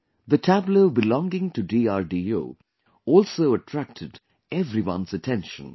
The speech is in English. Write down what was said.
The tableau belonging to DRDO also attracted everyone's attention